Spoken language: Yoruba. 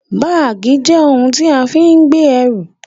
Báàgì jẹ́ ohun tí a fi ń gbé ẹrù